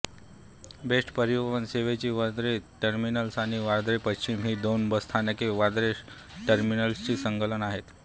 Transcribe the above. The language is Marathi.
बेस्ट परिवहन सेवेची वांद्रे टर्मिनस आणि वांद्रे पश्चिम ही दोन बसस्थानके वांद्रे टर्मिनसशी संलग्न आहेत